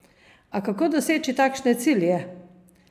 A kako doseči takšne cilje?